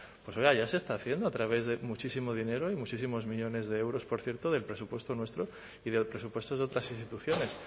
pues oiga ya se está haciendo a través de muchísimo dinero y muchísimos millónes de euros por cierto del presupuesto nuestro y de los presupuestos de otras instituciones